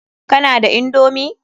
Kana da indomi?